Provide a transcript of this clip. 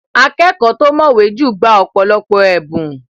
Akẹ́kọ̀ọ́ tó mọ̀wẹ́ jù gba ọ̀pọ̀lọpọ̀ ẹ̀bùn.